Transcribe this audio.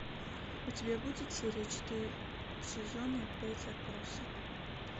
у тебя будет серия четыре сезона пять отбросы